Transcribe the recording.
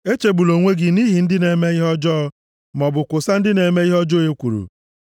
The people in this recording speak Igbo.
Echegbula onwe gị nʼihi ndị na-eme ihe ọjọọ, maọbụ kwosa ndị na-eme ihe ọjọọ ekworo;